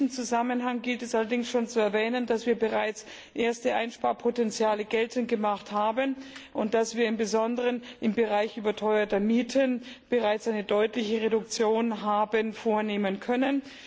In diesem Zusammenhang gilt es allerdings zu erwähnen, dass wir bereits erste Einsparpotenziale geltend gemacht haben und dass wir insbesondere im Bereich überteuerter Mieten bereits eine deutliche Reduktion haben vornehmen können.